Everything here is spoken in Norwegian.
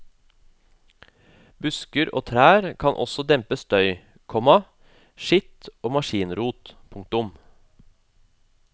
Busker og trær kan også dempe støy, komma skitt og maskinrot. punktum